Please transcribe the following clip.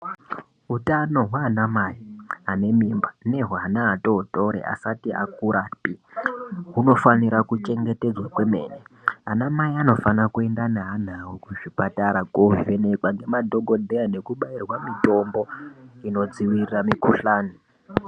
Utano hwaanamai anemimba nehweana atootori asati akurapi hunofanira kuchengetedzwa kwemene. Anamai anofanira kuenda neana awo kuzvipatara koovhenekwa ngema dhokodheya nekubairwa mitombo inodzivirira mikhuhlani.